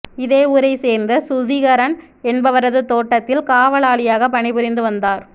இதே ஊரை சேர்ந்த சுதிகரன் என்பவரது தோட்டத்தில் காவலாளியாக பணிபுரிந்து வந்தார்